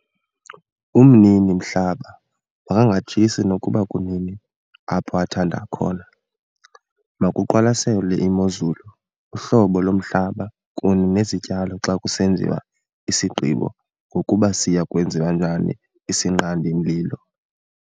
Umnini-mhlaba makangatshisi nokuba kunini apho athande khona. Makuqwalaselwe imozulu, uhlobo lomhlaba kunye nezityalo xa kusenziwa isigqibo ngokuba siya kwenziwa njani isinqandi-mlilo.